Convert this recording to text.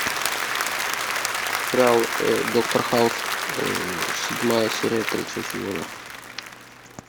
сериал доктор хаус седьмая серия третьего сезона